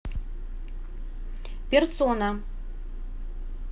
персона